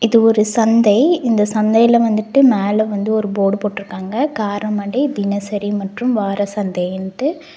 இது ஒரு சந்தை இந்த சந்தைல வந்துட்டு மேல வந்து ஒரு போர்டு போட்ருக்காங்க காரமடை தினசரி மற்றும் வாரசந்தைன்ட்டு.